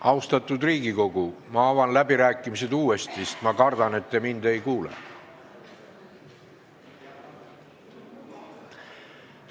Austatud Riigikogu, ma avan läbirääkimised uuesti, sest ma kardan, et te mind ei kuulnud.